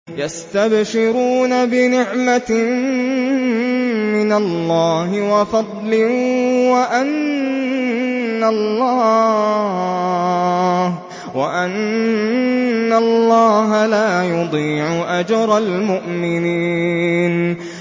۞ يَسْتَبْشِرُونَ بِنِعْمَةٍ مِّنَ اللَّهِ وَفَضْلٍ وَأَنَّ اللَّهَ لَا يُضِيعُ أَجْرَ الْمُؤْمِنِينَ